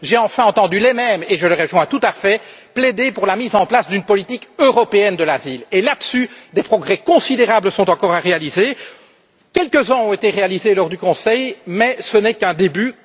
J'ai enfin entendu les mêmes, et je les rejoins tout à fait, plaider pour la mise en place d'une politique européenne de l'asile et, là dessus, des progrès considérables sont encore à réaliser. Quelques uns ont été réalisés lors du Conseil, mais ce n'est qu'un début.